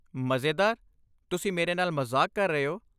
ਮਜ਼ੇਦਾਰ? ਤੁਸੀਂ ਮੇਰੇ ਨਾਲ ਮਜ਼ਾਕ ਕਰ ਰਹੇ ਹੋ?